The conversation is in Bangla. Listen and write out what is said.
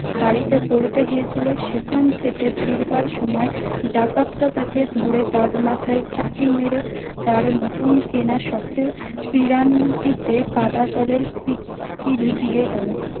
বাড়িতে পড়তে গিয়েছিল সেখান থেকে ফিরবার সময় ডাকাতরা তাকে ধরে তার মাথায় চাটি মেরে তার নতুন কেনা সখের পেরান টি তে কাঁদা জলের পিচকিরি দিয়ে গেলো